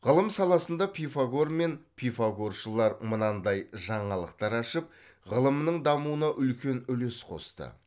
ғылым саласында пифагор мен пифагоршылар мынандай жаңалықтар ашып ғылымның дамуына үлкен үлес қосты